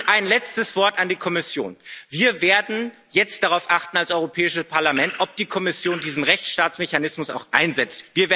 Und ein letztes Wort an die Kommission Wir werden jetzt als Europäisches Parlament darauf achten, ob die Kommission diesen Rechtsstaatsmechanismus auch einsetzt.